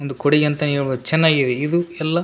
ಒಂದು ಕೊಡೆಯಂತಾನೆ ಹೇಳ್ಬಹುದು ಚೆನ್ನಾಗಿದೆ ಇದು ಎಲ್ಲಾ --